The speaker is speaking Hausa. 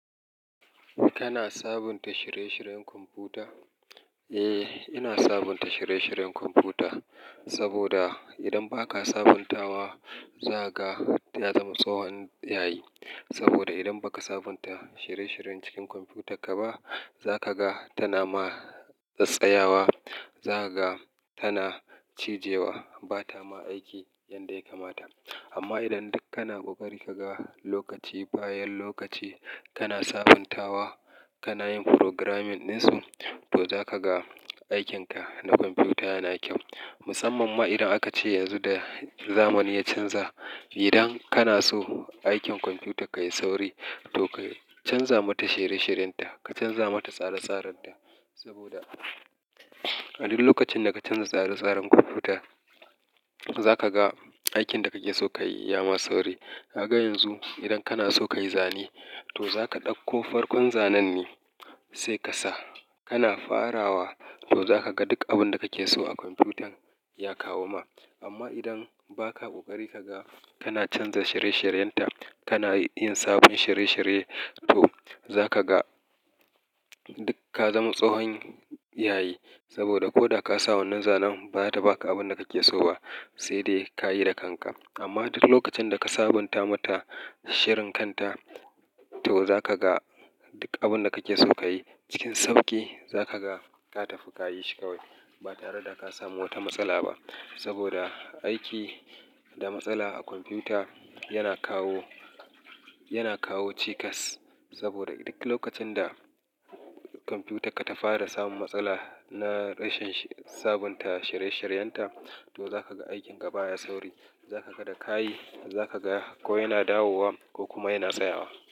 Kana sabunta shirye-shiryen kwamfuta? Eh, ina sabunta shirye-shiryen kwamfuta saboda idan baka sabuntawa, zaka ta zama tsahon yayi. Saboda idan baka sabunta shirye-shiryen cikin kwamfuta kaba, zakaga tana ma tsatsayawa, zakaga tana cijewa, batama aiki yanda ya kamata. Amma idan duk kana ƙoƙari kaga lokaci, bayan lokaci kana sabuntawa, kana yin programming ɗinsu, to zakaga aikinka na kwamfuta yana kyau. Musamman ma idan akace yanzu da zamani ya canza. Idan kana so aikin kwamfuta ka yayi sauri, to ka canza mata shirye-shiryen ta, ka canza mata tsare-tsaren ta. Saboda a duk lokacin da ka canza tsare-tsaren kwamfuta, za ka ga aikin da kake so ka yi ya ma sauri. Kaga yanzu, idan kana so kayi zane, to zaka ɗauko farkon zanen ne saika sa kana farawa, to zakaga duk abinda kake so a kwamfutan ya kawo ma. Amma idan ba ka ƙoƙari ka ga kana canza shirye-shiryen ta, kana yin sabon shirye-shirye, to za ka ga duk ka zama tsahon yayi. Saboda koda kasa wannan zanen, bata baka abin da kake so ba, sai dai kayi da kanka. Amma duk lokacin daka sabunta mata shirin kan ta, to zakaga duk abinda kake so kayi cikin sauƙi, za kagaza ka tafi kayi shi kawai. Ba tare da ka samu wata matsala ba. Saboda aiki da matsala a kwamfuta yana kawo, yana kawo cikas. Saboda duk lokacin da kwamfutarka ta fara samun matsala na rashin sabunta shirye-shiryen ta, to zakaga aikin ka baya sauri, zakaga da kayi, zakaga ko yana dawowa ko kuma yana tsayawa.